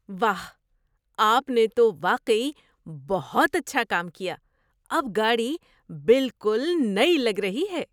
واہ! آپ نے تو واقعی بہت اچھا کام کیا۔ اب گاڑی بالکل نئی لگ رہی ہے!